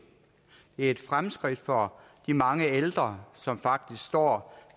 er et fremskridt for de mange ældre som faktisk står